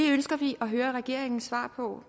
ønsker vi at høre regeringens svar